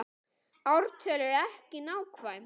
Ártöl eru ekki nákvæm.